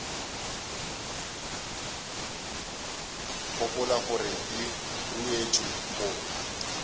gopola gore di ruetšwe go